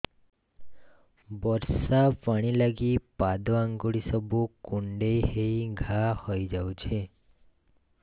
ବର୍ଷା ପାଣି ଲାଗି ପାଦ ଅଙ୍ଗୁଳି ସବୁ କୁଣ୍ଡେଇ ହେଇ ଘା ହୋଇଯାଉଛି